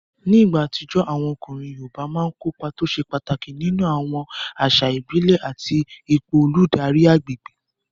Ní ìgbà àtijọ́, àwọn ọkùnrin yoòbá máa n kópa tó ṣe pàtàkì nínú àwọn àṣà ìbílẹ̀ àti ipò olùdarí agbègbè